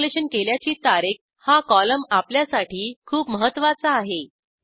installation केल्याची तारीख हा कॉलम आपल्यासाठी खूप महत्त्वाचा आहे